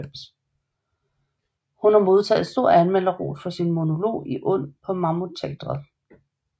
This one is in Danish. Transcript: Hun har modtaget stor anmelderros for sin monolog i Und på Mammut Teatret